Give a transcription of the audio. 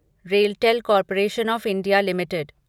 RailTel corporation of India limited